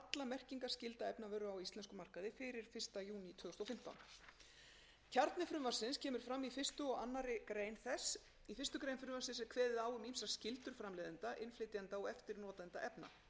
þúsund og fimmtán kjarni frumvarpsins kemur fram í fyrsta og annarrar greinar þess í fyrstu grein frumvarpsins er kveðið á um ýmsar skyldur framleiðenda innflytjenda og eftirnotenda efna meðal þeirra veigamestu